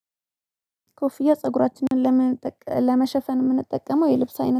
ኮፍያ ፀጉራችንን ለመሸፈን የምንጠቀመው የልብስ አይነት